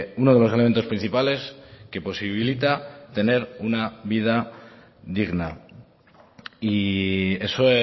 uno de los elementos principales que posibilita tener una vida digna y eso